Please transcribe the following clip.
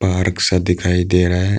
Park सा दिखाई दे रहा है।